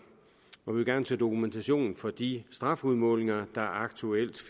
hvor vi gerne vil se dokumentation for de strafudmålinger der aktuelt